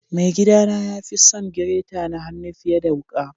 Mai gida na ya fi son gireta na hannu fiyar da wuka.